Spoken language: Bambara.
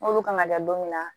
N'olu kan ka da don min na